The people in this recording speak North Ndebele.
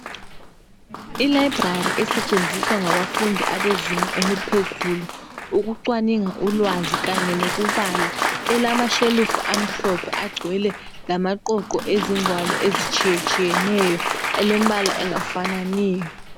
Ilibrary esetshenziswa ngabafundi abezinga eziphezulu, ukucwaninga ulwazi kanye lokubala. Ilamashelufu amhlophe agcwele kanye lamaqoqo ezingwalo ezitshiyatshiyeneyo alembala engafananiyo.